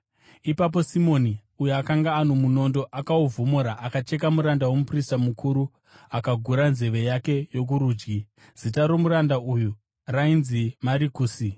Ipapo Simoni, uyo akanga ano munondo, akauvhomora akacheka muranda womuprista mukuru, akagura nzeve yake yokurudyi. (Zita romuranda uyo rainzi Marikusi.)